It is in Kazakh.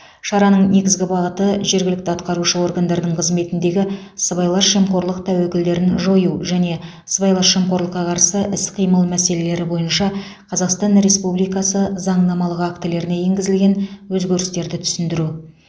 шараның негізгі бағыты жергілікті атқарушы органдардың қызметіндегі сыбайлас жемқорлық тәуекелдерін жою және сыбайлас жемқорлыққа қарсы іс қимыл мәселелері бойынша қазақстан республикасы заңнамалық актілеріне енгізілген өзгерістерді түсіндіру